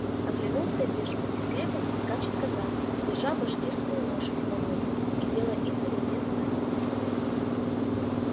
оглянулся вижу из крепости скачет казак держа башкирскую лошадь в поводья и делая издали мне знаки